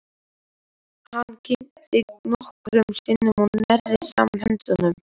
Hann kyngdi nokkrum sinnum og neri saman höndunum.